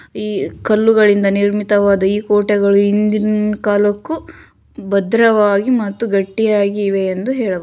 ಈ ಕಲ್ಲುಗಳಿಂದ ನಿರ್ಮಿತವಾದ ಈ ಕೋಟೆಗಳು ಹಿಂದಿನ ಕಾಲಕ್ಕೂ ಭದ್ರವಾಗಿ ಮತ್ತು ಗಟ್ಟಿಯಾಗಿವೆ ಎಂದು ಹೇಳಬ--